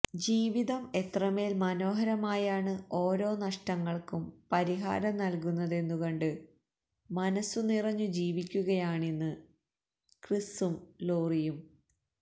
ജീവിതം എത്രമേല് മനോഹരമായാണ് ഓരോ നഷ്ടങ്ങള്ക്കും പരിഹാരം നല്കുന്നതെന്നു കണ്ട് മനസ്സു നിറഞ്ഞു ജീവിക്കുകയാണിന്ന് ക്രിസും ലൊറിയും